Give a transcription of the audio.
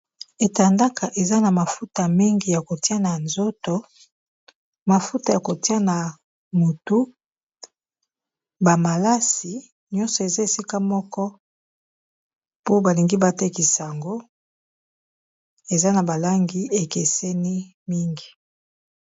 Etandaka eza na mafuta mingi ya kotia na nzoto mafuta ya kotia na motu bamalasi nyonso eza esika moko po balingi batekisango eza na balangi ekeseni mingi